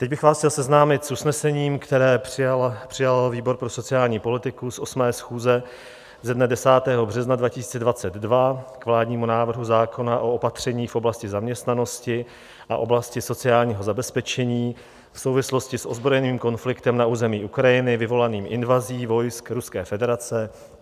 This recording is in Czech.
Teď bych vás chtěl seznámit s usnesením, které přijal výbor pro sociální politiku, z 8. schůze ze dne 10. března 2022 k vládnímu návrhu zákona o opatřeních v oblasti zaměstnanosti a oblasti sociálního zabezpečení v souvislosti s ozbrojeným konfliktem na území Ukrajiny vyvolaným invazí vojsk Ruské federace.